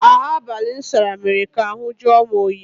Ahụ abalị m sara mere ka ahụ jụọ m oyi.